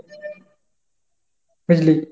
বুঝলি?